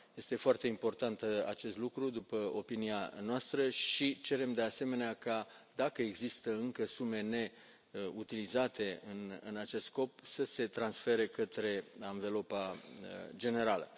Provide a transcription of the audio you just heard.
Este foarte important acest lucru, în opinia noastră, și cerem, de asemenea, ca, dacă există încă sume neutilizate în acest scop, să se transfere către anvelopa generală.